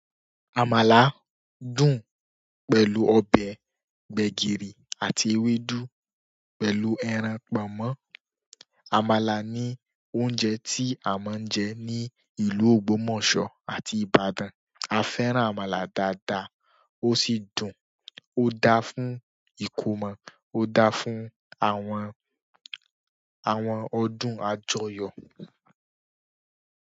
Àmàlà dùn pẹ̀lú ọbẹ̀ gbẹ̀gìrì àti ewédú pẹ̀lú ẹran, pọnmọ́. Àmàlà ni oúnjẹ tí a máa ń jẹ ní ìlú Ògbómọ̀ṣọ́ àti Ìbàdàn. A fẹ́ràn àmàlà dáadáa, ó sì dùn. O daa fún ikomọ, o daa fún àwọn ọdún àjọyọ̀.